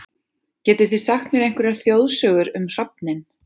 Getið þið sagt mér einhverjar þjóðsögur um hrafninn?